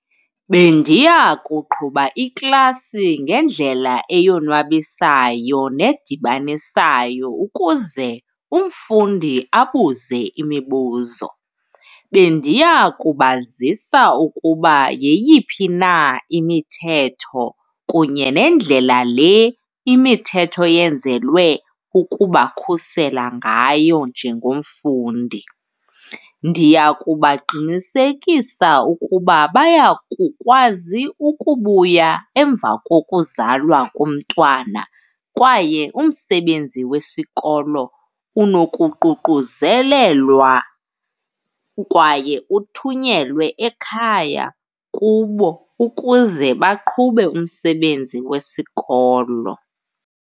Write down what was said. Bendiya kuqhuba iklasi ngendlela eyonwabisayo nedibanisayo ukuze umfundi abuze imibuzo. Bendiya kubazisa ukuba yeyiphi na imithetho kunye nendlela le imithetho eyenzelwe ukubakhusela ngayo njengomfundi. Ndiya kubaqinisekisa ukuba baya kukwazi ukubuya emva kokuzalwa komntwana kwaye umsebenzi wesikolo unokuququzelelwa kwaye uthunyelwe ekhaya kubo ukuze baqhube umsebenzi wesikolo.